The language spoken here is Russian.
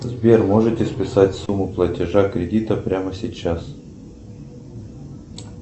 сбер можете списать сумму платежа кредита прямо сейчас